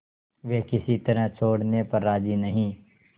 वे किसी तरह छोड़ने पर राजी नहीं